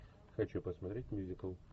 хочу посмотреть мюзикл